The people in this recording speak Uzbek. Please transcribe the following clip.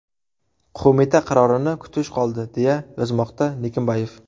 Qo‘mita qarorini kutish qoldi”, deya yozmoqda Nikimbayev.